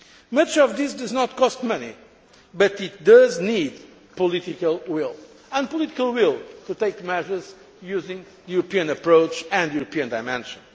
Much of this does not cost money, but it does need political will. And the political will to take measures using a European approach and a European dimension.